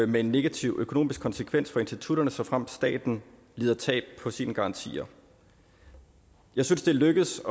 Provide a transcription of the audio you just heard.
med en negativ økonomisk konsekvens for institutterne såfremt staten lider tab på sine garantier jeg synes det er lykkedes